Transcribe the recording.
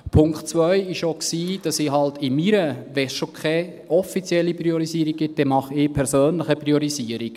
Der Punkt 2 war, dass ich in meiner … Wenn es schon offiziell keine Priorisierung gibt, dann mache ich persönlich eine Priorisierung.